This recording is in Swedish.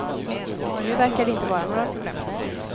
Nu verkar det inte vara några problem.